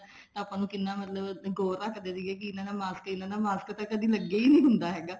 ਆਪਾਂ ਨੂੰ ਕਿੰਨਾ ਮਤਲਬ ਗੋਰ ਰੱਖਦੇ ਸੀਗੇ ਮਾਸਕ ਨੀ ਲਾਉਣਾ ਮਾਸਕ ਤਾਂ ਕਦੇ ਲੱਗਿਆ ਹੀ ਨੀ ਹੁੰਦਾ ਹੈਗਾ